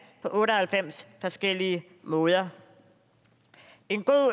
på otte og halvfems forskellige måder en god